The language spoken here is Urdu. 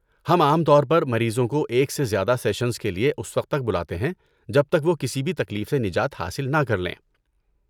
ہم عام طور پر مریضوں کو ایک سے زیادہ سیشنز کے لیے اس وقت تک بلاتے ہیں، جب تک وہ کسی بھی تکلیف سے نجات حاصل نہ کر لیں۔